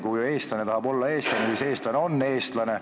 Kui eestlane tahab olla eestlane, siis eestlane on eestlane.